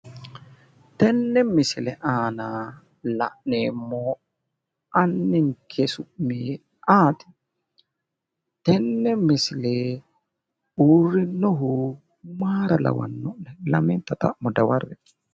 Tenne misile aana la'neemmo anninke su'mi ayiti? Tenne misile uurrinohu mayira lawanno'ne? Lamenta xa'mo dawarre"e.